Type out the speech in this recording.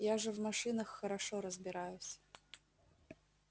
я же в машинах хорошо разбираюсь